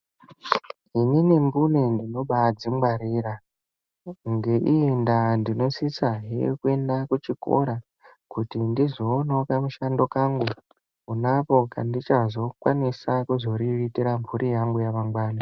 Inini mbune ndinoba adzingwarira ngeiyi ndaa ndinosisahe kuenda kuchikora kuti ndizoonawo kamushando kangu, konako kandichazokwanisa kuriritira mhuri yangu yamangwani.